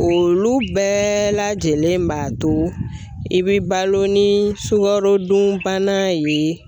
Olu bɛɛ lajɛlen b'a to i bɛ balo ni sukarodunbana ye.